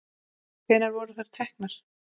Hvenær voru þær teknar?